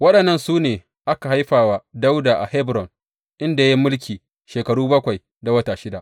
Waɗannan su ne aka haifa wa Dawuda a Hebron, inda ya yi mulki shekaru bakwai da wata shida.